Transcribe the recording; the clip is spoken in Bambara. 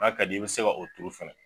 N'a ka d'i ye i bi se ka o tuuru fana.